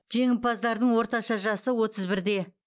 жеңімпаздардың орташа жасы отыз бірде